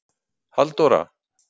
Halldóra